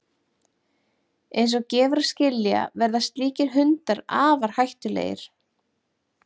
Eins og gefur að skilja verða slíkir hundar afar hættulegir.